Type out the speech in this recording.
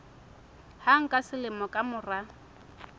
hang ka selemo ka mora